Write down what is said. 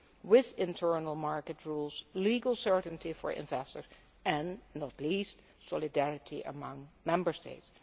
with internal market rules, legal certainty for investors and, not least, solidarity among Member States.